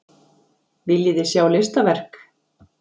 Viljiði sjá listaverk?